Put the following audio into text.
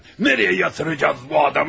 Haraya yatıracağıq bu adamı?